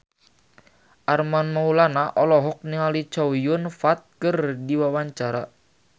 Armand Maulana olohok ningali Chow Yun Fat keur diwawancara